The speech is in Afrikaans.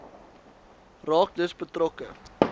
raak dus betrokke